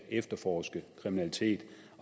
efterforske kriminalitet